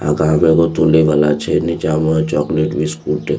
आहां के आगे में एगो टूले वाला छै नीचा में चॉक्लेट बिस्कुट --